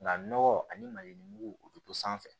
Nka nɔgɔ ani malimugu u be to sanfɛ